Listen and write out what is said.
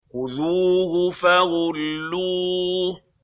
خُذُوهُ فَغُلُّوهُ